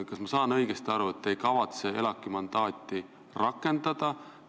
Kas ma saan õigesti aru, et te ei kavatse ELAK-i mandaati rakendada?